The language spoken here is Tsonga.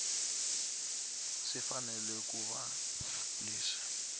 swi fanele ku va leswi